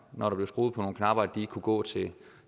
når der blev skruet på nogle knapper ikke kunne gå til